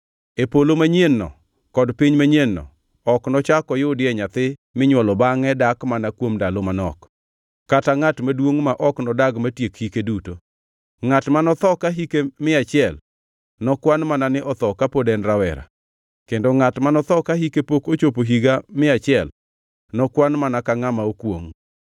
“E polo manyien-no kod piny manyien-no ok nochak oyudie nyathi minywolo bangʼe dak mana kuom ndalo manok; kata ngʼat maduongʼ ma ok nodag matiek hike duto, ngʼat manotho ka hike mia achiel, nokwan mana ni otho ka pod en rawera; kendo ngʼat manotho ka hike pok ochopo higa mia achiel, nokwan mana ka ngʼama okwongʼ.